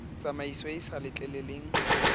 tsamaiso e e sa letleleleng